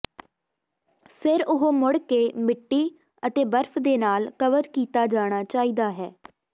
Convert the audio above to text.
ਫਿਰ ਉਹ ਮੁੜ ਕੇ ਮਿੱਟੀ ਅਤੇ ਬਰਫ ਦੇ ਨਾਲ ਕਵਰ ਕੀਤਾ ਜਾਣਾ ਚਾਹੀਦਾ ਹੈ